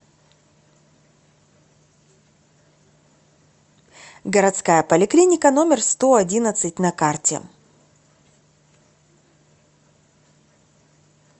городская поликлиника номер сто одиннадцать на карте